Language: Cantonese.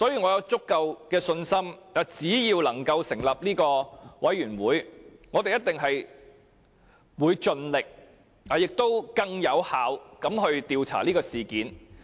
我有足夠的信心，如果我們能夠成立專責委員會，我們一定會盡力以更有效的方式調查事件。